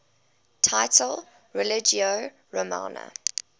title religio romana